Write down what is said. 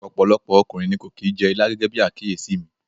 Ọ̀pọ̀lọpọ̀ ọkùnrin ni kò kì í jẹ ilá gẹ́gẹ́bí àkíyèsí mi.